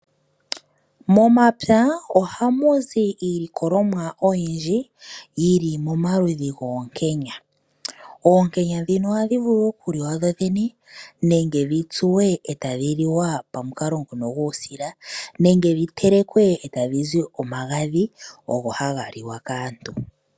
Momapya ohamu zi iilikolomwa oyindji yili momaludhi goonkenya. Oonkenya ndhino ohadhi vulu okuliwa dho dhene nenge dhi tsuwe etadhi liwa pamukalo ngono guusila nenge dhi telekwe etadhi zi omagadhi ogo haga liwa kaantu.